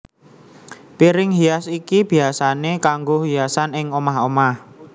Piring hias iki biyasané kanggo hiasan ing omah omah